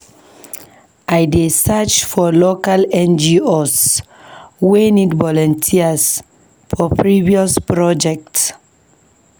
I dey search for local NGOs wey need volunteers for various projects.